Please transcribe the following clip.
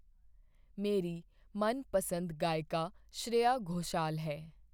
ਮੇਰੀ ਮਨਪਸੰਦ ਗਾਇਕਾ ਸ਼੍ਰੇਆ ਘੋਸ਼ਾਲ ਹੈ